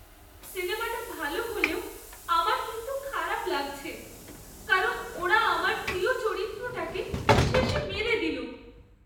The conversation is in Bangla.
সিনেমাটা ভালো হলেও আমার কিন্তু খারাপ লাগছে কারণ ওরা আমার প্রিয় চরিত্রটাকে শেষে মেরে দিলো।